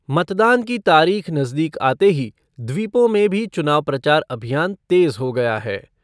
मतदान की तारीख नजदीक आते ही द्वीपों में भी चुनाव प्रचार अभियान तेज हो गया है